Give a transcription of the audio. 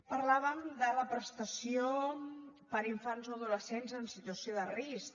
parlàvem de la prestació per a infants o adolescents en situació de risc